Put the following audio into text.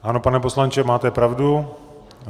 Ano, pane poslanče, máte pravdu.